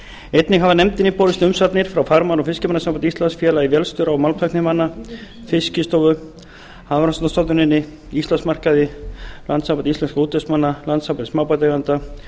einnig hafa nefndinni borist umsagnir frá farmanna og fiskimannasambandi íslands félagi vélstjóra og málmtæknimanna fiskistofu hafrannsóknastofnuninni íslandsmarkaði landssambandi íslenskra útvegsmanna landssambandi smábátaeigenda